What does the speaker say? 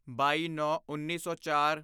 ਬਾਈਨੌਂਉੱਨੀ ਸੌ ਚਾਰ